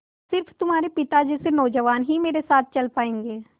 स़िर्फ तुम्हारे पिता जैसे नौजवान ही मेरे साथ चल पायेंगे